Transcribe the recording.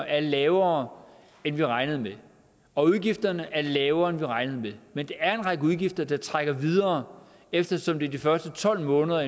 er lavere end vi regnede med og udgifterne er lavere end vi regnede med men der er en række udgifter der rækker videre eftersom det er de første tolv måneder